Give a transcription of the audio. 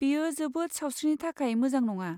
बेयो जोबोद सावस्रिनि थाखाय मोजां नङा।